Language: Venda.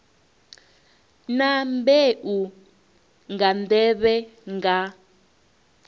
na mbeu nga nḓevhe nga